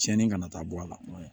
Tiɲɛni kana taa bɔ a la